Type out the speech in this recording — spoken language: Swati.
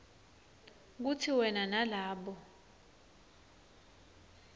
kutsi wena nalabo